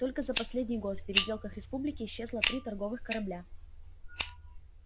только за последний год в переделках республики исчезло три торговых корабля